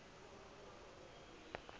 le ge o ka ba